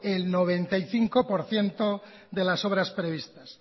el noventa y cinco por ciento de las obras previstas